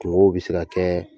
Tungow bɛ se kɛ